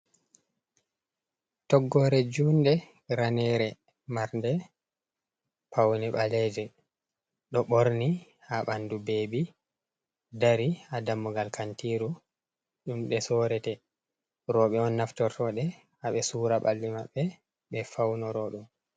Toggore junde, raneere marde paune ɓaleejum, ɗo ɓorni haa ɓandu bebi, dari haa dammugal kantiru ɗumde sorete, roɓe on naftortoode haɓe sura ɓalli maɓɓe ɓe faunorodum.